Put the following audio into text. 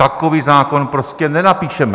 Takový zákon prostě nenapíšeme.